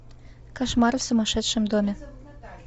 кошмары в сумасшедшем доме